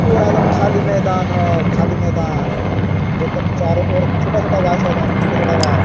पूरा एकदम खाली मैदान है खाली मैदान जेकर चारों ओर छोटा- छोटा बास हन छोटा- छोटा बास ।